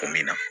O min na